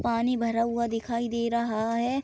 पानी भरा हुआ दिखाई दे रहा है।